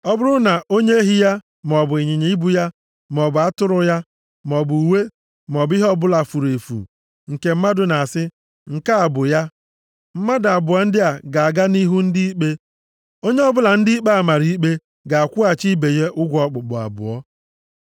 Ọ bụrụ na onye ehi ya, maọbụ ịnyịnya ibu ya, maọbụ atụrụ ya, maọbụ uwe, maọbụ ihe ọbụla furu efu, nke mmadụ na-asị, ‘Nke a bụ ya.’ Mmadụ abụọ ndị a ga-aga nʼihu ndị ikpe. + 22:9 Maọbụ, Chineke Onye ọbụla ndị ikpe a mara ikpe + 22:9 Bụ ndị nnọchite anya Chineke ga-akwụghachi ibe ya ụgwọ okpukpu abụọ.